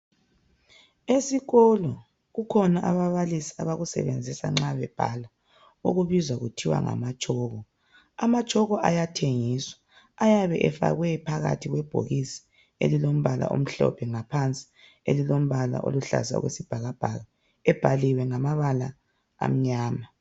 Esikolo, kukhona ababalisi abakusebenzisa nxa bebhala, okubizwa kuthiwa ngama tshoko . Amatshoko ayathengiswa, ayabe efakwe phakathi kwebhokisi elilombala omhlophe, ngaphansi elilombala oluhlaza okwesibhakabhaka, ebhaliwe ngamabala amnyama.